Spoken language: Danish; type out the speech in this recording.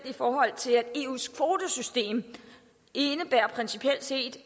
i forhold til at eus kvotesystem principielt set